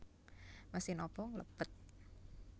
Mesin obong lebet